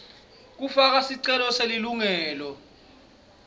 kufaka sicelo selilungelo